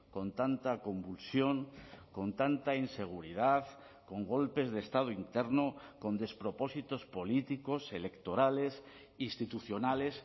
con tanta convulsión con tanta inseguridad con golpes de estado interno con despropósitos políticos electorales institucionales